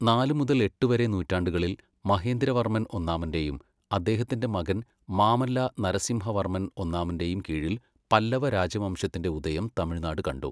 നാല് മുതല് എട്ട് വരെ നൂറ്റാണ്ടുകളിൽ, മഹേന്ദ്രവർമൻ ഒന്നാമന്റെയും അദ്ദേഹത്തിന്റെ മകൻ മാമല്ല നരസിംഹവർമൻ ഒന്നാമന്റെയും കീഴിൽ പല്ലവ രാജവംശത്തിന്റെ ഉദയം തമിഴ്നാട് കണ്ടു.